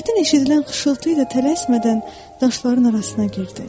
Çətin eşidilən xışıltı ilə tələsmədən daşların arasına girdi.